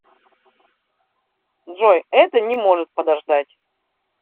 джой это не может подождать